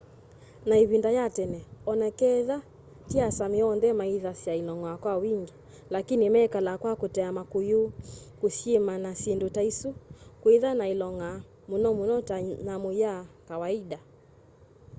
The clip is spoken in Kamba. na ivinda ya tene onaketha ti asámi onthe maithasya ilong'a kwa wingi lakini mekalaa kwa kutea makuyu kusyima na sindu taisu kwitha na ilong'a muno muno ta nyamu ya kawaida